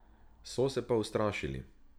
So se pa ustrašili.